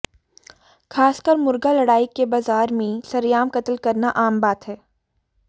खासकर मुर्गा लड़ाई के बाजार में सरेआम कत्ल करना आम बात है